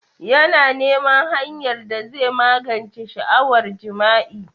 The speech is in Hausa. Yana neman hanyar da zai magance sha'awar jima'i.